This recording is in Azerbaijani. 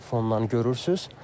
Fondan görürsüz.